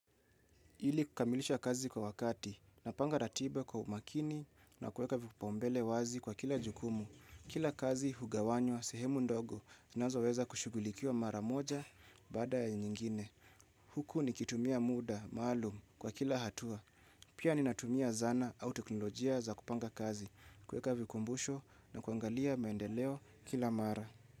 Ili kukamilisha kazi kwa wakati, napanga ratiba kwa umakini na kuweka vipaumbele wazi kwa kila jukumu. Kila kazi hugawanywa, sehemu ndogo, zinazoweza kushughulikiwa mara moja baada ya nyingine. Huku nikitumia muda, maalum kwa kila hatua. Pia ninatumia zana au teknolojia za kupanga kazi. Kuweka vikumbusho na kuangalia maendeleo kila mara.